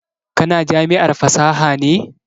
Ka na jami'ar fasaha ne?